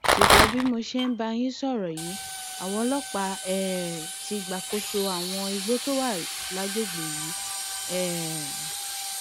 ṣùgbọn bí mo ṣe ń bá yín sọrọ yìí àwọn ọlọpàá um ti gbàkóso àwọn igbó tó wà lágbègbè yìí um